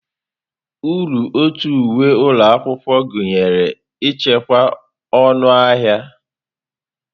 Uru ọtu uwe ụlọ akwụkwọ gụnyere ichekwa ọnụ ahịa.